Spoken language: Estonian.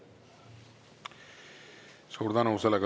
Suur tänu!